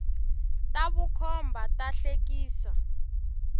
ta vukhomba ta hlekia